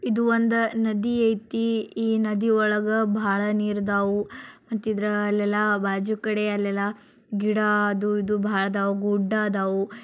ಇದು ಒಂದು ನದಿಯ ಇದೆ ನದಿಯೊಳಗ ಬಹಳ ನೀರದೇ ಅಲ್ಲ ಬಾಜು ಕಡೆ ಗಿಡದ ಹೂ ಅದು ಇದು ಬಹಳ ಗುಡ್ಡ.